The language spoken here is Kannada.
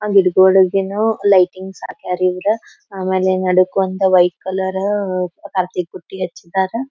ಲೈಟಿಂಗ್ಸ್ ಹಾಕ್ಯರ್ ಇವ್ರ ಆಮೇಲೆ ನಡೆಕೊಂತ ವೈಟ್ ಕಲರ್ ಬುಟ್ಟಿ ಹಚ್ಚಿದರ್.